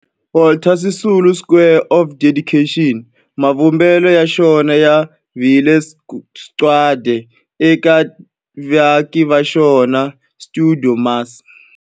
Walter Sisulu Square of Dedication, mavumbelo ya xona ya vile sagwadi eka vaaki va xona va stuidio MAS.